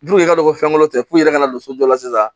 Du yɛrɛ don ko fɛnko tɛ puri ka na don sojɔ la sisan